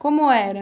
Como era?